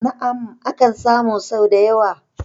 Na'am, akan samu sau da yawa